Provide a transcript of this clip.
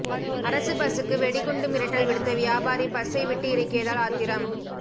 அரசு பஸ்சுக்கு வெடிகுண்டு மிரட்டல் விடுத்த வியாபாரி பஸ்சை விட்டு இறக்கியதால் ஆத்திரம்